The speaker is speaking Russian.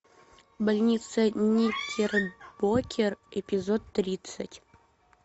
больница никербокер эпизод тридцать